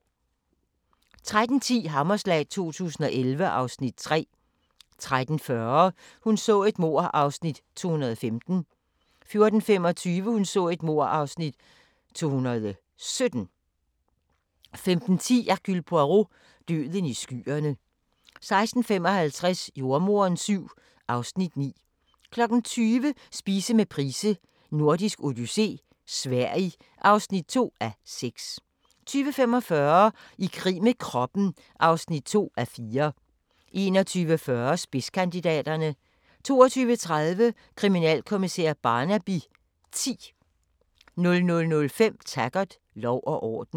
13:10: Hammerslag 2011 (Afs. 3) 13:40: Hun så et mord (215:267) 14:25: Hun så et mord (217:267) 15:10: Hercule Poirot: Døden i skyerne 16:55: Jordemoderen VII (Afs. 9) 20:00: Spise med Price: Nordisk Odyssé - Sverige (2:6) 20:45: I krig med kroppen (2:4) 21:40: Spidskandidaterne 22:30: Kriminalkommissær Barnaby X 00:05: Taggart: Lov og orden